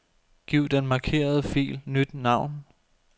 Giv den markerede fil nyt navn.